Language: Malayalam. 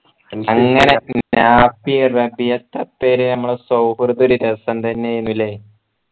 അങ്ങനെ പിന്നെ എത്ര പേര് നമ്മുടെ സൗഹൃദം ഒരു രസം തന്നെ ഏന് അല്ലെ